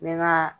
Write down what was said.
N bɛ n ka